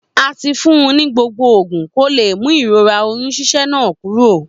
A ti fún ni gbogbo ogún ko le mú ìrora oyún ṣíṣẹ́ náà kuro